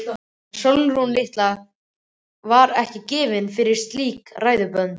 En Sólrún litla var ekki gefin fyrir slík ræðuhöld.